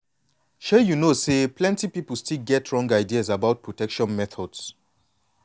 shay you know say plenty people still get wrong ideas about protection methods.